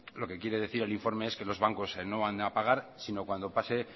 lo que quiere decir el informe es que los bancos no van a pagar sino cuando pasen